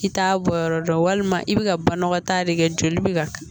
I t'a bɔ yɔrɔ dɔn walima i bɛ ka banɔgɔ ta de kɛ joli bɛ ka